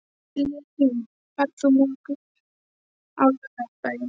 Levý, ferð þú með okkur á laugardaginn?